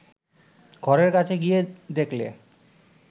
ঘরের কাছে গিয়ে দেখলে